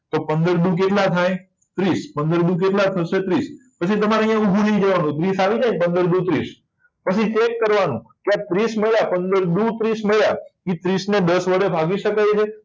પંદર દુ કેટલા થાય ત્રીસ પંદર દુ કેટલા થશે ત્રીસ પછી અહીંયા તમારે ઉભું નહિ રહેવાનું ત્રીસ આવી જાય ને પંદર દુ ત્રીસ પછી ચેક કરવાનું પંદર દુ ત્રીસ મળ્યા એ ત્રીસને દસ વડે ભાગી શકાય